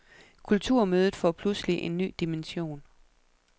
Kulturmødet får pludselig en ny dimension.